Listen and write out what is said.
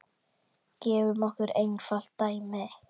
Gefum okkur einfalt dæmi.